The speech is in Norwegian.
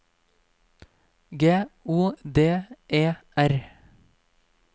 G O D E R